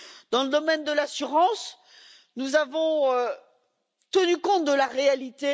Dans le domaine de l'assurance, nous avons tenu compte de la réalité.